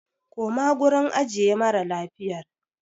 Koma gurin ajiye mara lafiyar!